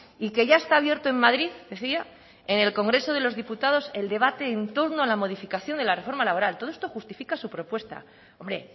y que ya está abierto en madrid decía en el congreso de los diputados el debate en torno a la modificación de la reforma laboral todo esto justifica su propuesta hombre